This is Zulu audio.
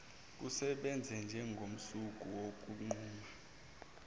kusebenze njengomsuka wokunquma